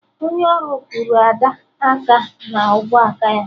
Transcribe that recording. Onye ọrụ kụrụ Ada aka na ubuaka ya